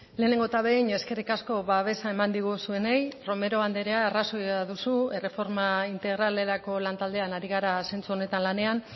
lehenengo eta behin eskerrik asko babesa eman diguzuenei romero andrea arrazoia duzu erreforma integralerako lan taldean ari gara zentzu honetan lanean